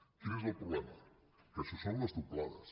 quin és el problema que això són les doblades